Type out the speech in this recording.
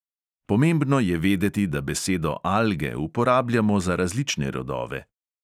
Pomembno je vedeti, da besedo alge uporabljamo za različne rodove.